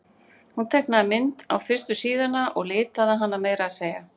Hún teiknaði mynd á fyrstu síðuna og litaði hana meira að segja.